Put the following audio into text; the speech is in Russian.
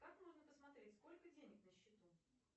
как можно посмотреть сколько денег на счету